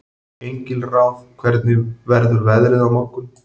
Engilráð, hvernig verður veðrið á morgun?